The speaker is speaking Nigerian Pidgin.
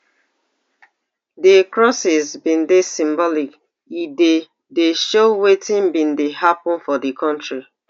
di crosses bin dey symbolic e dey dey show wetin bin dey happun for di kontri